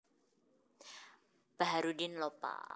Baharuddin Lopa